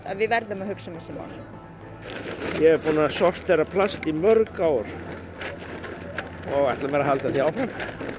við verðum að hugsa um þessi mál ég er búinn að sortera plast í mörg ár og ætla mér að halda því áfram